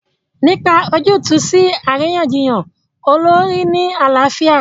Nípa ojútùú sí àríyànjiyàn olórí ní àlàáfíà.